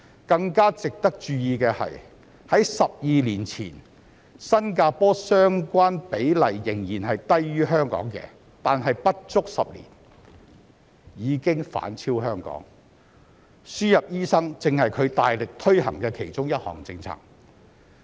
更值得注意的是，在12年前新加坡相關比例仍然是低於香港的，但在不足10年間已經反勝香港，輸入醫生正是它大力推行的其中一項政策。